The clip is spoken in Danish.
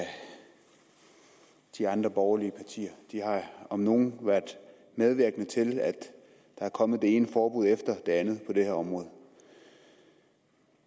de andre borgerlige partier de har om nogen været medvirkende til at der er kommet det ene forbud efter det andet på det her område